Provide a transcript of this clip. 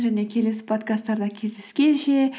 және келесі подкасттарда кездескенше